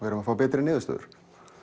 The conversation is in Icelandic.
erum að fá betri niðurstöður